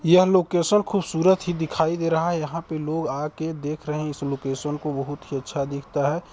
यह लोकेशन बहोत खुबसूरत ही दिखाई दे रहा है यहाँ पे लोग आके देख रहे है इस लोकेशन को बहुत ही अच्छा दिखता है।